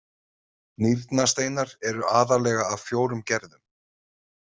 Nýrnasteinar eru aðallega af fjórum gerðum.